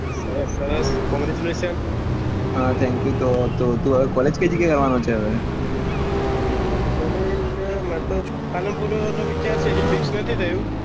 સરસ સરસ congratulation હા thank you તો તું college કઈ જગ્યા એ લેવાનો છે હવે college મેં તો પાલનપુર નો વિચાર છે હજી ફિકસ નથી થયું